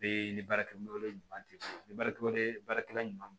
Be ni baarakɛminɛnw tɛ fɔ ni baarakɛw tɛ baarakɛla ɲuman